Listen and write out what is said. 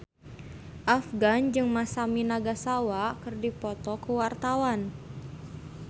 Afgan jeung Masami Nagasawa keur dipoto ku wartawan